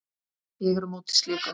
Ég er á móti slíku.